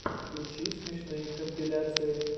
включи смешные компиляции